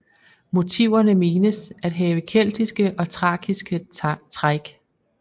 Motiverne menes at have keltiske og thrakiske træk